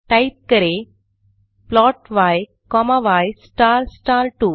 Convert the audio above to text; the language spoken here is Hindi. टाइप करें plot y comma y star star 2